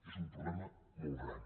és un problema molt gran